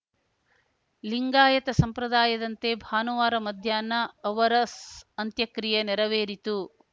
ಲಿಂಗಾಯತ ಸಂಪ್ರದಾಯದಂತೆ ಭಾನುವಾರ ಮಧ್ಯಾಹ್ನ ಅವರ ಸ್ಸ್ ಅಂತ್ಯಕ್ರಿಯೆ ನೆರವೇರಿತು